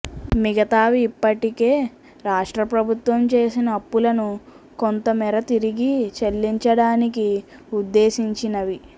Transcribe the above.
మిగతావి ఇప్పటికే రాష్ట్ర ప్రభుత్వం చేసిన అప్పులను కొంత మేర తిరిగి చెల్లించడానికి ఉద్దేశించినవి